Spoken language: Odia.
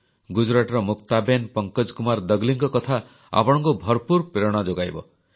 ଗୁଜରାଟର ମୁକ୍ତାବେନ୍ ଫଙ୍କଜକୁମାର ଦଗଲିଙ୍କ କଥା ଆପଣଙ୍କୁ ଭରପୁର ପ୍ରେରଣା ଯୋଗାଇବ